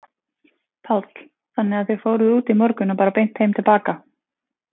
Páll: Þannig að þið fóruð út í morgun og bara beint heim til baka?